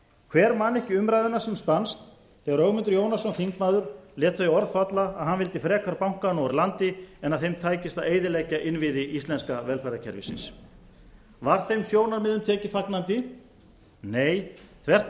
hver man ekki umræðuna sem spannst þegar ögmundur jónasson þingmaður lét þau orð falla að hann vildi frekar bankana úr landi en að þeim tækist að eyðileggja innviði íslenska velferðarkerfisins var þeim sjónarmiðum tekið fagnandi nei þvert á